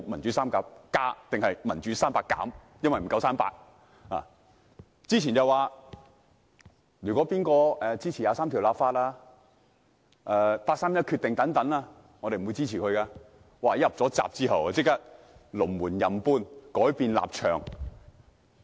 在選舉前，他們表示誰支持《基本法》第二十三條立法和八三一決定便不會予以支持，但入閘後便即時隨意搬動龍門，改變立場。